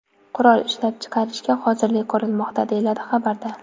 Qurol ishlab chiqarishga hozirlik ko‘rilmoqda”, deyiladi xabarda.